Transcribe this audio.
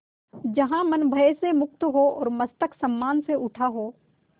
जहाँ मन भय से मुक्त हो और मस्तक सम्मान से उठा हो